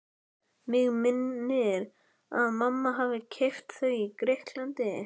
Mig minnir að mamma hafi keypt þau í Grikklandi.